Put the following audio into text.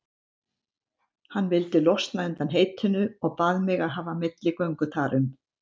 Hann vildi losna undan heitinu og bað mig að hafa milligöngu þar um.